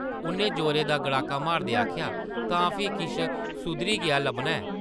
उʼन्नै जोरै दा गड़ाका मारदे आखेआ, तां फ्ही किश सुधरी गेआ लब्भना ऐं ।